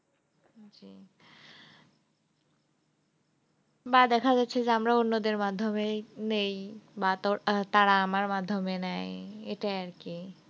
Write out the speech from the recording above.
বা দেখা যাচ্ছে যে আমরাও অন্যদের মাধ্যমে নিই বা তারা আমার মাধ্যমে নেয় এটাই আরকি।